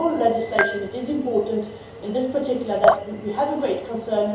I think in all legislation it is important, in particular, that we have a great concern.